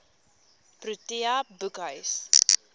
protea boekhuis